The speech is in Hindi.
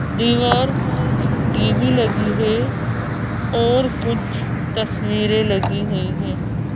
दीवार पर एक टी_वी लगी है और कुछ तस्वीरें लगी हुई हैं।